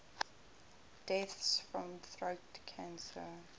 deaths from throat cancer